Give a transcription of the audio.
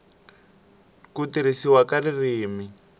n ku tirhisiwa ka ririmi